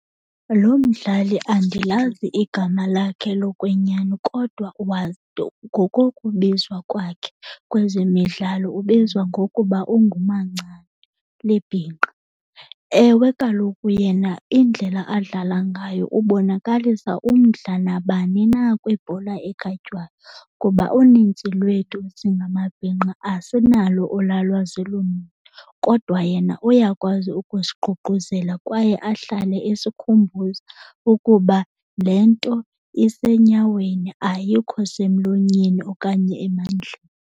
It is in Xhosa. Lo mdlali andilazi igama lakhe lokwenyani kodwa ngokokubizwa kwakhe kwezemidlalo ubizwa ngokuba unguMancane, libhinqa. Ewe, kaloku yena indlela adlala ngayo ubonakalisa umdla nabani na kwibhola ekhatywayo kuba uninzi lwethu singamabhinqa asinalo olwaa lwazi luninzi, kodwa yena uyakwazi ukusiququzela kwaye ahlale esikhumbuza ukuba le nto isenyaweni ayikho semlonyeni okanye emandleni.